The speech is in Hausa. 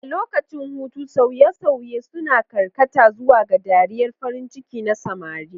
A lokacin hutu, sauye-sauye suna karkata zuwa ga dariyar farin ciki na samari.